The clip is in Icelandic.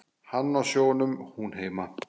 Hann á sjónum, hún heima.